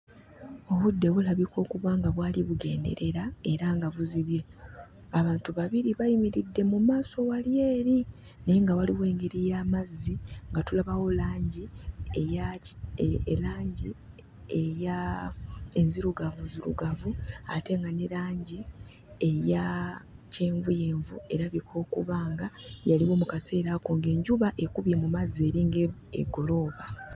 Obudde bulabika okuba nga bwali bugenderera era nga buzibye. Abantu babiri bayimiridde mu maaso wali eri naye nga waliwo engeri y'amazzi nga tulabawo langi eya erangi eya enzirugavunzirugavu ate nga ne langi eya kyenvuyenvu erabika okuba nga yaliwo mu kaseera ako ng'enjuba ekubye mu mazzi eringa egolooba.